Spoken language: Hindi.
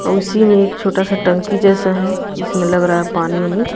और उसी में एक छोटा सा टंकी जैसा है इसमें लग रहा है पानी वानी --